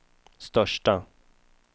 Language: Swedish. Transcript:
största